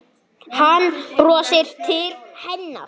Hann brosir til hennar.